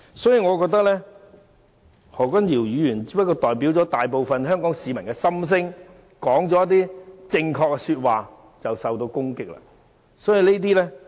所以，我認為何君堯議員只不過是代表大部分香港市民的心聲，說了一些正確的說話，卻因而受到攻擊。